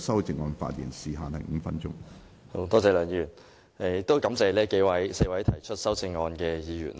多謝梁議員，我亦感謝4位提出修正案的議員。